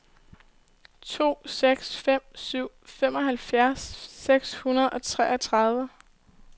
to seks fem syv femoghalvfjerds seks hundrede og treogtredive